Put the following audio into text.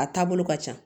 A taabolo ka ca